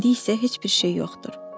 İndi isə heç bir şey yoxdur.